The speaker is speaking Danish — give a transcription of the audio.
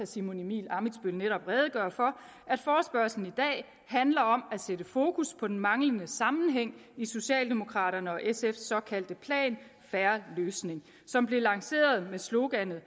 simon emil ammitzbøll netop redegøre for handler om at sætte fokus på den manglende sammenhæng i socialdemokraternes og sfs såkaldte plan en fair løsning som blev lanceret med sloganet